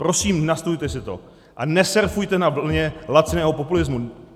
Prosím, nastudujte si to a nesurfujte na vlně laciného populismu!